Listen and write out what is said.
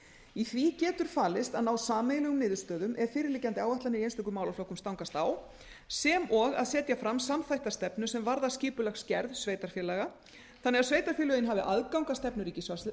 í því getur falist að ná sameiginlegum niðurstöðum ef fyrirliggjandi áætlanir í einstökum málaflokkum stangast á sem og að setja fram samþætta stefnu sem varðar skipulagsgerð sveitarfélaga þannig að sveitarfélögin hafa aðgang að stefnu ríkisvaldsins